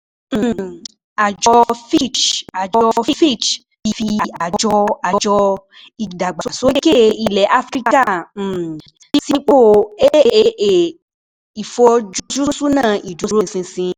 um Àjọ Fitch Àjọ Fitch fi Àjọ Àjọ Ìdàgbàsókè Ilẹ̀ Áfíríkà um sípò "AAA"; Ìfojúsunà Ìdúróṣinṣin